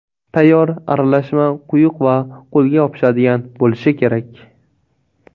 Tayyor aralashma quyuq va qo‘lga yopishadigan bo‘lishi kerak.